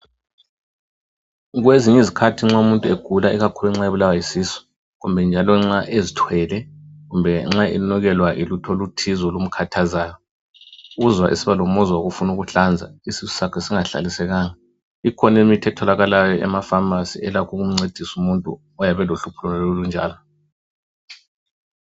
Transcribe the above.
Kwezinye izikhathi nxa umuntu egula, ikakhulu nxa ebulawa yisisu. Kumbe njalo nxa ezithwele, kumbe nxa enukelwa yilutho oluthize olumkhathazayo. Uzwa esiba lomuzwa wokufuna ukuhlanza, isisu sakhe singahlalisekanga. Ikhona imithi etholakalayo emapharmacy, elakho ukumncedusa umuntu oyabe elohlupho lonalolo olunjalo.